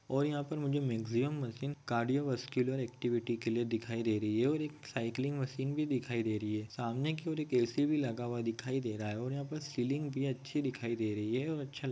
और यहाँ पे मुझे Maxima machine cardio muscular activity के लिए दिखाई दे रही है और एक सायक्लिंग मशीन भी दिखाई दे रही है सामने की और एक एसी भी लगा हुआ दिखाई दे रहा है और यहाँ पे सीलिंग भी अच्छी दिखाई दे रही है।